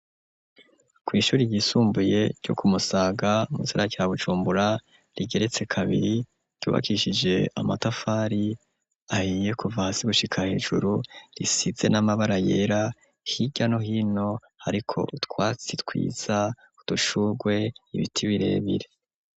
Kw’ishuri ryisumbuye ryo kumusaga mu gisagara ca bujumbura rigeretse kabiri ryubakishije amatafari ahiye kuva hasi gushika hejuru risize n'amabara yera hirya no hino ariko utwatsi twiza, udushugwe ,ibiti birebire.